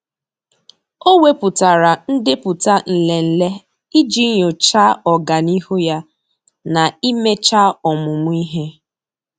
Ọ́ wèpụ̀tárà ndepụta nlele iji nyòcháá ọ́gànihu ya na íméchá ọ́mụ́mụ́ ihe.